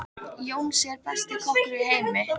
Jónsi er besti kokkur í heimi.